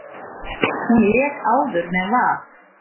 Hún lék áður með Val.